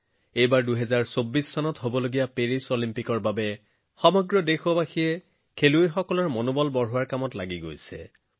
এইবাৰ ২০২৪ চনত অনুষ্ঠিত হব পেৰিছ অলিম্পিক যাৰ বাবে সমগ্ৰ দেশে আমাৰ খেলুৱৈসকলৰ উৎসাহ বৃদ্ধি কৰিছে